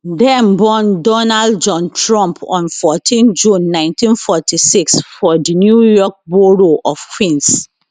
dem born donald john trump on 14 june 1946 for di new york borough of queens